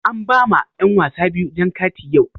An ba ma yan wasa biyu jan kati yau.